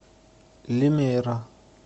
лимейра